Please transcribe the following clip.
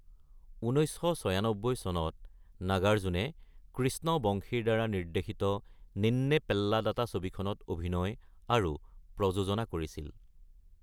১৯৯৬ চনত নাগাৰ্জুনে কৃষ্ণ বংশীৰ দ্বাৰা নিৰ্দ্দেশিত নিন্নে পেল্লাদাতা ছবিখনত অভিনয় আৰু প্ৰযোজনা কৰিছিল।